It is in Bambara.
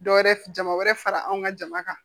Dɔwɛrɛ f jama wɛrɛ fara anw ka jama kan